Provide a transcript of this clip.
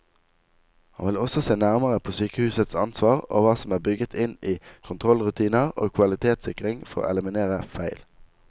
Han vil også se nærmere på sykehusets ansvar og hva som er bygget inn i kontrollrutiner og kvalitetssikring for å eliminere feil.